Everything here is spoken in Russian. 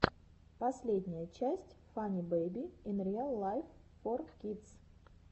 последняя часть фанни бэйби ин риал лайф фор кидс